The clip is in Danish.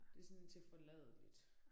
Det sådan tilforladeligt